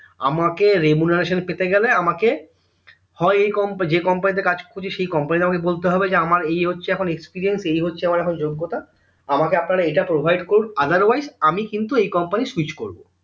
আমাকে remuneration পেতে গেলে আমাকে হয় এই যে company তে কাজ করছি সেই company আমাকে বলতে হবে যে আমার এই হচ্ছে এখন experience এই হচ্ছে এখন যোগ্যতা আমাকে আপনারা এইটা provide করুন otherwise আমি কিন্তু এই company switch করবো